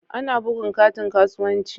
Ana bugun katin kasuwanci.